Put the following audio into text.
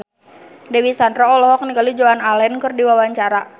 Dewi Sandra olohok ningali Joan Allen keur diwawancara